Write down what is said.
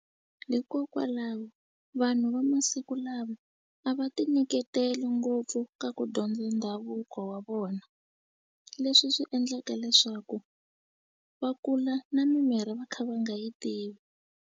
Hikokwalaho vanhu va masiku lama a va ti nyiketeli ngopfu ka ku dyondza ndhavuko wa vona leswi swi endlaka leswaku va kula na mimirhi va kha va nga yi tivi.